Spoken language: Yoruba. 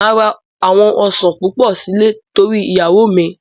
Máa ra àwọn Ọ̀sán púpọ̀ sílè torí iyawo míì.